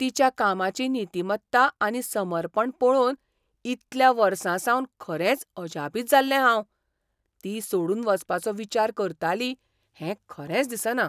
तिच्या कामाची नितीमत्ता आनी समर्पण पळोवन इतल्या वर्सांसावन खरेंच अजापीत जाल्लें हांव, ती सोडून वचपाचो विचार करताली हें खरेंच दिसना.